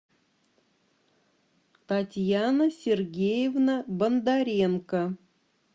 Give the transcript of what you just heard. татьяна сергеевна бондаренко